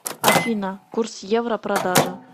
афина курс евро продажа